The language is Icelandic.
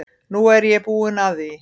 Nú er ég búin að því.